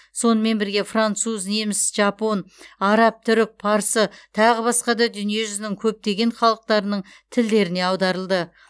сонымен бірге француз неміс жапон араб түрік парсы тағы басқа да дүниежүзінің көптеген халықтарының тілдеріне аударылды